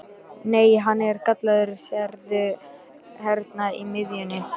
Nei, hann er gallaður, sérðu hérna í miðjunni.